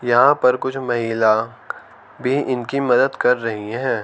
यहां पर कुछ महिला भी उनकी मदद कर रही है।